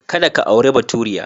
Kada ka auri baturiya.